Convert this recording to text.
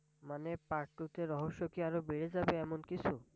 মানে Part two তে রহস্য আরও বেড়ে যাবে এমন কিছু?